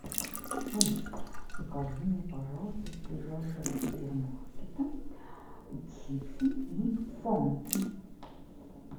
алиса закажи мне пожалуйста с ближайшего супермаркета чипсы и фанту